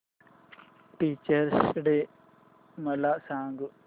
teachers day मला सांग